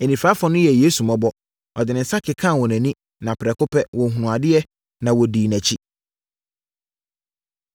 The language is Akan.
Anifirafoɔ no yɛɛ Yesu mmɔbɔ. Ɔde ne nsa kekaa wɔn ani, na prɛko pɛ, wɔhunuu adeɛ, na wɔdii nʼakyi.